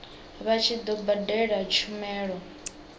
vha tshi do badela tshumelo